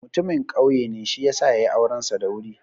Mutamin ƙauye be, shi ya sa ya yi aurensa da wuri.